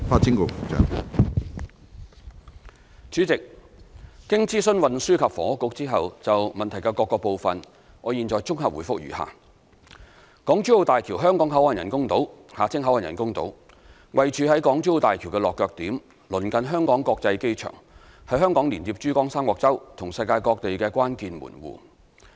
主席，經諮詢運輸及房屋局後，就質詢的各部分，我現綜合答覆如下：港珠澳大橋香港口岸人工島位處於港珠澳大橋的落腳點，鄰近香港國際機場，是香港連接珠江三角洲及世界各地的關鍵門戶。